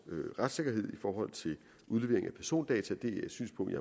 retssikkerhed i forhold til udlevering af persondata det er et synspunkt